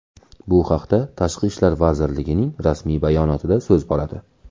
Bu haqda Tashqi ishlar vazirligining rasmiy bayonotida so‘z boradi .